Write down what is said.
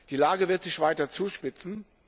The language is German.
Die Lage wird sich weiter zuspitzen.